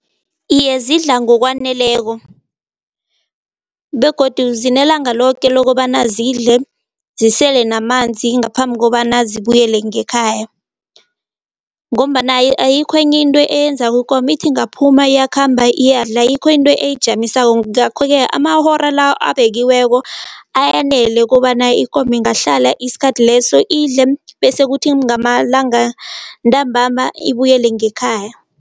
Iye, zidla ngokwaneleko begodu zinelanga loke lokobana zidle, zisele namanzi ngaphambi kobana zibuyele ngekhaya ngombana ayikho enye into eyenza ikomo ithi ingaphuma, iyakhamba, iyadla. Ayikho into eyijamisako ngakho-ke amahora la abekiweko ayanela kobana ikomo ingahlala isikhathi leso idle bese kuthi ngamalanga ntambama ibuyele ngekhaya.